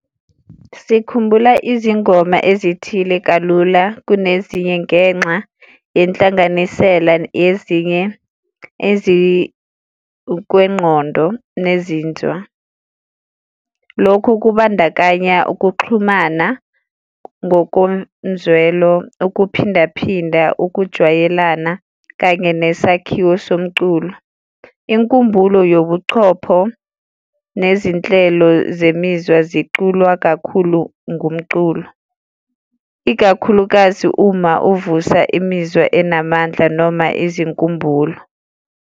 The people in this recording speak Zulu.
Sikhumbula izingoma ezithile kalula kunezinye ngenxa yenhlanganisela yezinye ezikukwengqondo nezinzwa. Lokhu kubandakanya ukuxhumana ngokomzwelo, ukuphindaphinda, ukujwayelana kanye nesakhiwo somculo. Inkumbulo yabuchopho nezinhlelo zemizwa ziculwa kakhulu ngomculo, ikakhulukazi uma uvusa imizwa enamandla noma izinkumbulo.